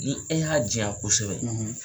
Ni e y'a jiyan kosɛbɛ